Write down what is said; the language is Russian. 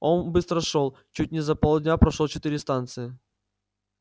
он быстро шёл чуть не за полдня прошёл четыре станции